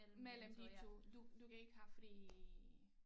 Mellem de 2 du kan ikke have fri